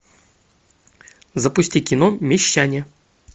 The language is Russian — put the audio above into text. запусти кино мещане